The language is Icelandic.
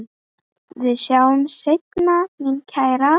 Við sjáumst seinna mín kæra.